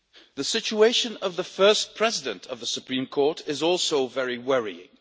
The situation of the First President of the Supreme Court is also very worrying.